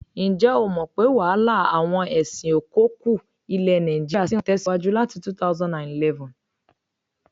Ǹjẹ́ o mọ̀ pé wàhálà àwọn ẹṣin-ò-kọkú ilẹ̀ nàìjíríà ṣì ń tẹ̀síwájú láti 2011?